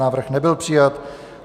Návrh nebyl přijat.